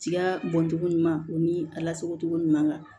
Ciya bɔncogo ɲuman o ni a lasagocogo ɲuman kan